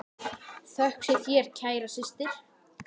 Þökk sé þér, kæra systir.